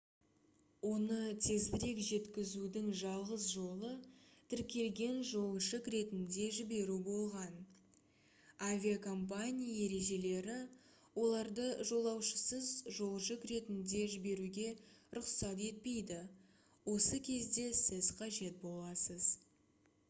оны тезірек жеткізудің жалғыз жолы тіркелген жолжүк ретінде жіберу болған авиакомпания ережелері олардлы жолаушысыз жолжүк ретінде жіберуге рұқсат етпейді осы кезде сіз қажет боласыз